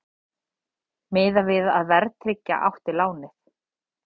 Miðað við að verðtryggja átti lánið